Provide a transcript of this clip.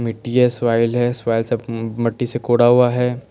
मिटटी हैं साइल हैं साइल से म मिट्टी से कूड़ा हुआ हैं।